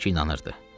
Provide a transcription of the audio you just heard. Əlbəttə ki, inanırdı.